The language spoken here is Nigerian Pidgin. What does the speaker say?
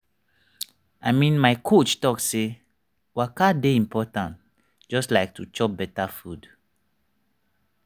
i mean my coach talk say waka dey important just like to chop better food.